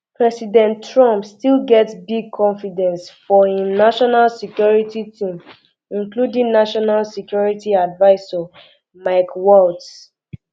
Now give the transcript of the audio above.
president trump still get big confidence for im um national security team including national security advisor mike waltz